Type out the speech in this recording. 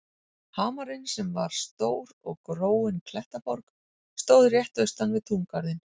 Hamarinn, sem var stór og gróin klettaborg, stóð rétt austan við túngarðinn.